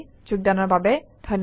যোগদানৰ বাবে ধন্যবাদ